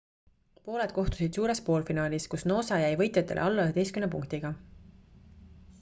pooled kohtusid suures poolfinaalis kus noosa jäi võitjatele alla 11 punktiga